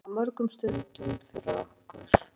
Það er gott en bara byrjun á mörgum stundum fyrir okkur.